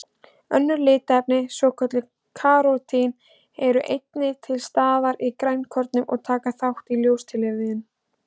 Önnur litarefni, svokölluð karótín, eru einnig til staðar í grænukornum og taka þátt í ljóstillífun.